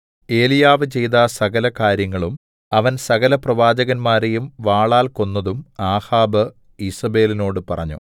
ഏലീയാവ് ചെയ്ത സകല കാര്യങ്ങളും അവൻ സകലപ്രവാചകന്മാരെയും വാളാൽ കൊന്നതും ആഹാബ് ഈസേബെലിനോട് പറഞ്ഞു